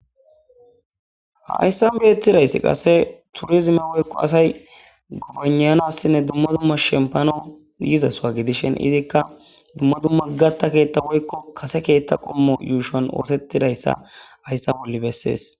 Hayssa beetizayssi qaase turizime woyyko asayi gobayna7assinne dumma dumma shemppanawu yizasuwa gidishin,izikka dumma dumma gatta keetha woykko kase keethan qommon yuushon oosetidayssa hayssa bolla bessesi.